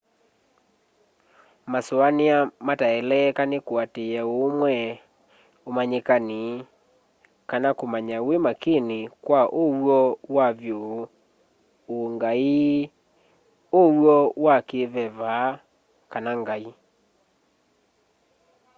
masũanĩa mataeleeka nĩ kũatĩĩa ũũmwe ũmanyĩkani kana kũmanya wi makini kwa ũw'o wa vyũ ũ'ngai ũw'o wa kĩĩveva kana ngai